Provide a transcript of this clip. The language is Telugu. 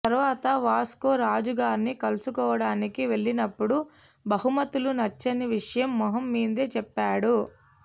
తరువాత వాస్కో రాజుగార్ని కలుసుడానికి వెళ్ళినప్పుడు బహుమతులు నచ్చని విషయం మొహం మీదే చెప్పాడు